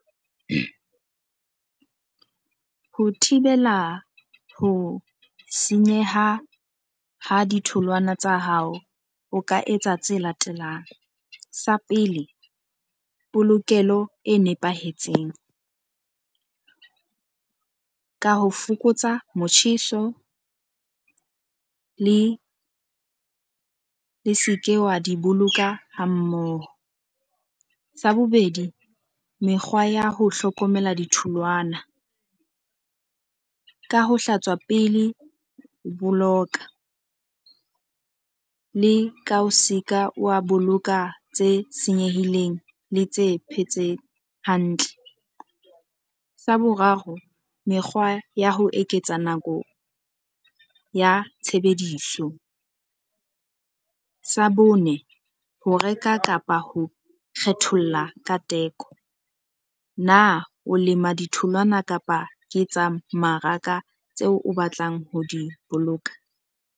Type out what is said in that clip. Ho thibela ho senyeha ha ditholwana tsa hao, o ka etsa tse latelang. Sa pele polokelo e nepahetseng ka ho fokotsa motjheso le e se ke wa diboloka ha mmoho. Sa bobedi, mekgwa ya ho hlokomela ditholwana ka ho hlatswa pele ho boloka le ka se ka wa boloka tse senyehileng le tse phetse hantle. Sa boraro, mekgwa ya ho eketsa nako ya tshebediso sa bone ho reka kapa ho kgetholla ka teko. Na o lema ditholwana kapa ke tsa mmaraka tseo o batlang ho di boloka?